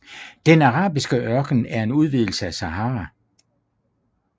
Den arabiske ørken er en udvidelse af Sahara